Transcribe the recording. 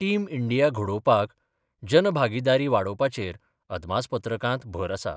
Team India घडोवपाक जनभागीदारी वाडोवपाचेर अदमासपत्रकांत भर आसा.